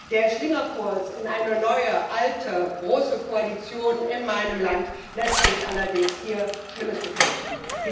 Der Schlingerkurs in eine neue alte große Koalition in meinem Land lässt mich allerdings hier Schlimmes befürchten.